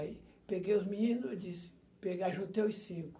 Aí peguei os meninos, disse, peguei ajuntei os cinco.